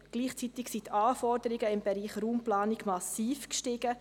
Gleichzeitig sind die Anforderungen im Bereich Raumplanung massiv gestiegen.